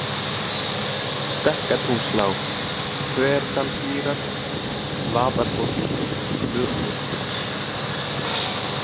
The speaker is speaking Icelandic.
Stekkatúnslág, Þverdalsmýrar, Vaðarhóll, Murrhóll